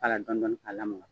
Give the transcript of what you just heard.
K'a la dɔɔni dɔɔni kaa lamaka.